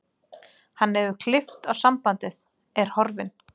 Hann hefur klippt á sambandið, er horfinn.